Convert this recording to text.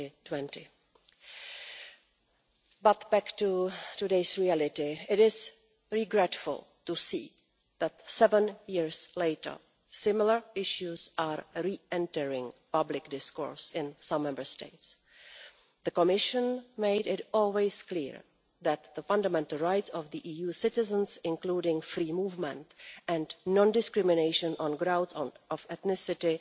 2020. But back to today's reality. It is regrettable to see that, seven years later, similar issues are re entering public discourse in some Member States. The Commission has always made it clear that the fundamental rights of EU citizens, including free movement and non discrimination on grounds of ethnicity,